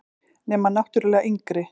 Nema náttúrlega yngri.